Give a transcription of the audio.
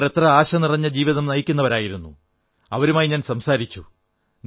അവർ എത്ര ആശനിറഞ്ഞ ജീവിതം നയിക്കുന്നവരായിരുന്നു അവരുമായി ഞാൻ സംസാരിച്ചു